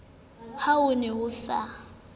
ha ho ne ho sa